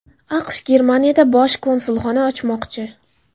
AQSh Grenlandiyada Bosh konsulxona ochmoqchi.